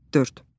Dörd.